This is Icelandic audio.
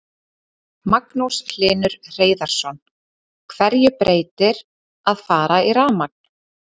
Magnús Hlynur Hreiðarsson: Hverju breytir að fara í rafmagn?